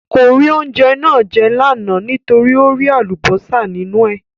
Kò rí oúnjẹ náà jẹ́ lánàá nítorí ó rí Àlùbọ́sà nínú ẹ̀